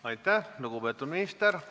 Aitäh, lugupeetud minister!